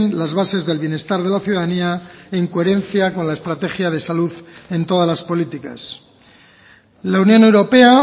las bases del bienestar de la ciudadanía en coherencia con la estrategia de salud en todas las políticas la unión europea